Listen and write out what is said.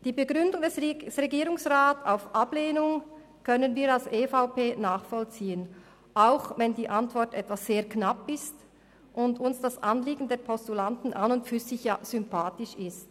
Die Begründung der Ablehnung durch den Regierungsrat können wir als EVP nachvollziehen, auch wenn die Antwort etwas knapp ausfällt und uns das Anliegen der Postulanten im Grunde genommen sympathisch ist.